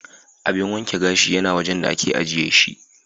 Abin wanke gashi yana wajan da ake ajiye shi.